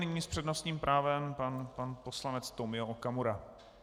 Nyní s přednostním právem pan poslanec Tomio Okamura.